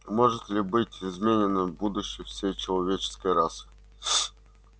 может ли быть изменено будущее всей человеческой расы